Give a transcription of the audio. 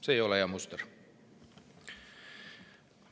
See ei ole hea muster.